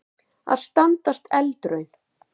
Að standast eldraun